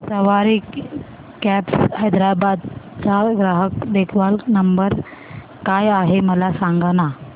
सवारी cabs Hyderabad चा ग्राहक देखभाल नंबर काय आहे मला सांगाना